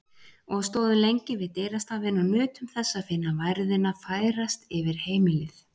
Og stóðum lengi við dyrastafinn og nutum þess að finna værðina færast yfir heimilið.